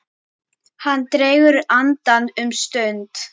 Hann dregur andann um stund.